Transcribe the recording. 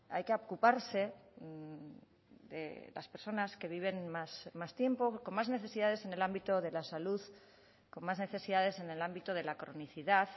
hay que ocuparse de las personas que viven más tiempo con más necesidades en el ámbito de la salud con más necesidades en el ámbito de la cronicidad